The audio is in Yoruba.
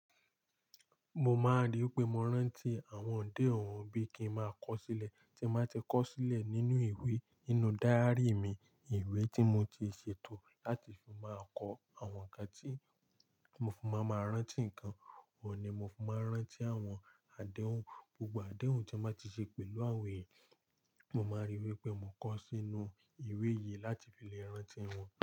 Mo máa ríi pé mo rántí àwọn ọ̀dẹ òun bí kí n máa kọ sílẹ̀, tí máa ti kọ sílẹ̀ nínú ìwé, nínú díárì mi. Ìwé tí mo ti ṣètò láti fi máa kọ àwọn nǹkan tí mo fún máa ma rántí nǹkan. Ohun ni mo fi máa n rántí àwọn àdéhùn, gbogbo àdéhùn tí n ba ti ṣe pẹ̀lú àwọn èèyàn. Mo máa ríi wípé mo kọ sínú ìwé yìí láti lè rántí wọn.